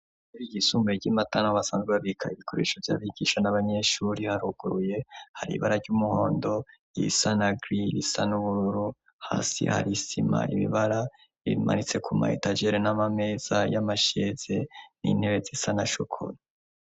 Ishure ryisumbuye ry'i Matana aho basanzwe babika ibikoresho vy'abigisha n'abanyeshuri haruguruye hari ibara ry'umuhondo, irisa na giri, irisa n'ubururu, hasi hari isima, ibibara bimaritse ku ma etajere n'amameza y'amasheze n'intebe zisa na shokora.